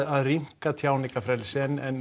að rýmka tjáningarfrelsi en